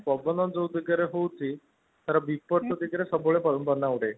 ପବନ ଯୋଉ ଦିଗ ରେ ହୋଉଛି ତାର ବିପରୀତ ଦିଗ ରେ ସବୁ ବେଳେ ବାନା ଉଡେ